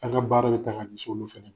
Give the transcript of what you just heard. A' ka baara be tan ŋ'a di soolo fɛnɛ m